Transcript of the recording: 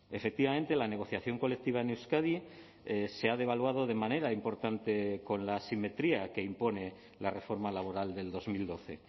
efectivamente la negociación colectiva en euskadi se ha devaluado de manera importante con la asimetría que impone la reforma laboral del dos mil doce